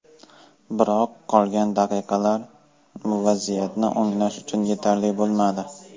Biroq qolgan daqiqalar vaziyatni o‘nglash uchun yetarli bo‘lmadi.